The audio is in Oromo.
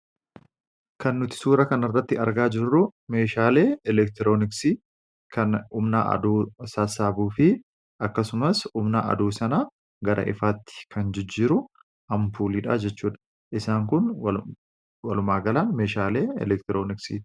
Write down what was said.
Kan nuti suura kan irratti argaa jirru meeshaalee elektirooniksii kan umnaa aduu saasaabuu fi akkasumaas umnaa aduu sana gara ifaatti kan jijjiiru hampuuliidhaa jechuudha. Isaan kun walmaagalaan meeshaalee elektirooniksiti.